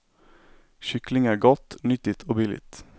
Kyckling är gott, nyttigt och billigt.